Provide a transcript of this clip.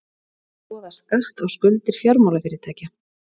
Skoða skatt á skuldir fjármálafyrirtækja